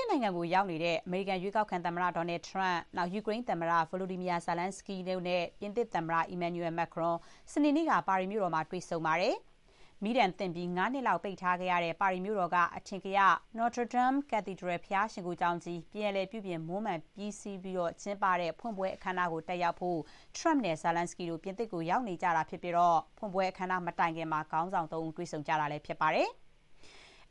သစ်နိုင်ငံကို ရောက်နေတဲ့ အမေရိကန် ရွေးကောက်ခံသမ္မတ Donald Trump၊ ယူကရိန်းသမ္မတ Volodymyr Zelenskiy တို့နဲ့ ပြင်သစ်သမ္မတ Emmanuel Macron တို့ စနေနေ့က ပါရီမြို့တော်မှာ တွေ့ဆုံခဲ့ကြပါတယ်။ မီးဒဏ်သင့်ပြီး ၅ နှစ်လောက် ပိတ်ထားခဲ့ရတဲ့ ပါရီမြို့တော်က အထင်ကရ Notre-Dame ဘုရားရှိခိုးကျောင်းကြီး ပြန်လည် ပြုပြင် မွမ်းမံပြီးလို့ ကျင်းပတဲ့ ဖွင့်ပွဲအခမ်းအနားကို တက်ရောက်ဖို့ Trump နဲ့ Zelenskiy တို့ ပြင်သစ်ကို ရောက်နေကြတာဖြစ်ပြီး ဖွင့်ပွဲ အခမ်းအနားမတိုင်ခင်မှာ ခေါင်းဆောင် ၃ ဦး တွေ့ဆုံကြတာ ဖြစ်ပါတယ်။